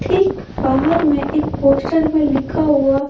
ठीक बाहर में एक पोस्टर में लिखा हुआ।